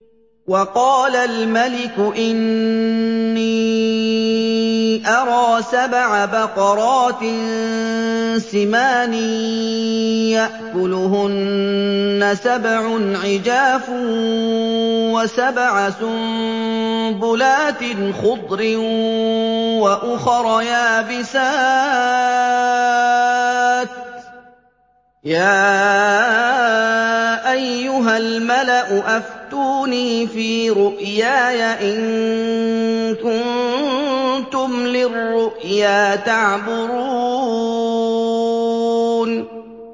وَقَالَ الْمَلِكُ إِنِّي أَرَىٰ سَبْعَ بَقَرَاتٍ سِمَانٍ يَأْكُلُهُنَّ سَبْعٌ عِجَافٌ وَسَبْعَ سُنبُلَاتٍ خُضْرٍ وَأُخَرَ يَابِسَاتٍ ۖ يَا أَيُّهَا الْمَلَأُ أَفْتُونِي فِي رُؤْيَايَ إِن كُنتُمْ لِلرُّؤْيَا تَعْبُرُونَ